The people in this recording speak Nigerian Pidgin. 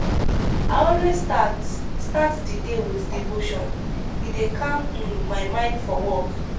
i always start start di day with devotion e dey calm um my mind for work.